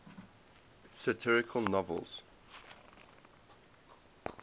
satirical novels